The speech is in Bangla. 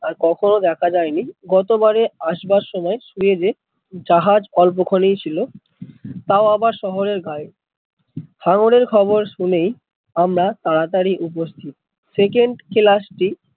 আর কখন ও দেখা যায় নি গত বাড়ে আসবার সময় সুয়েজ এ জাহাজ অল্প ক্ষণই ছিল তাও আবার শহরের গায়ে, হাঙ্গর এর খবর শুনেই আমরা তাড়াতড়ি উপস্থিত, second ক্লাস টি